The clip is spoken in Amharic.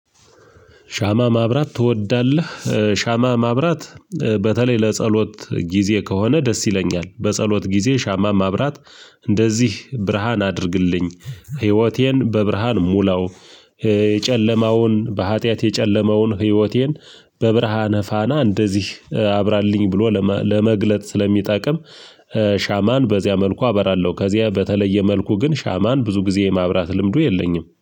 ሻማ ማብራት ትወዳለህ? ሻማ ማብራት በተለይ ለጸሎት ጊዜ ከሆነ ደስ ይለኛል በጸሎት ጊዜ ሻማ ማብራት እንደዚህ ብርሃን አድርግልኝ፣ ህይወቴን በብርሃን ሙላው የጨለማውን፣ በሀጥያት የጨለመውን ህይወቴን በብርሃነ ፋና እንደዚህ አብራልኝ ብሎ ለመግለጥ ስለሚጠቅም ሻማን በዚያ መልኩ አበራለሁ። ከዚያ በተለየ መልኩ ግን ሻማን ብዙ ጊዜ የማብራት ልምዱ የለኝም